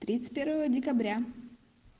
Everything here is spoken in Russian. тридцать первого декабря